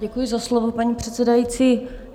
Děkuji za slovo, paní předsedající.